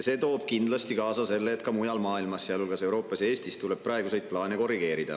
See toob kindlasti kaasa selle, et ka mujal maailmas, sealhulgas Euroopas ja Eestis, tuleb praeguseid plaane korrigeerida.